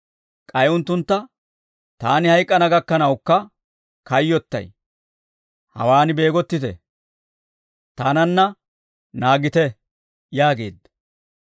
K'ay unttuntta, «Taani hayk'k'ana gakkanawukka kayyottay; hawaan beegottiide, taananna naagite» yaageedda.